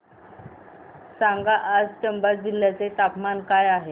सांगा आज चंबा जिल्ह्याचे तापमान काय आहे